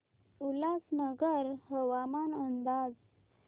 उल्हासनगर हवामान अंदाज